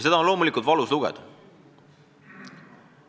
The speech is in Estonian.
Seda on loomulikult valus lugeda.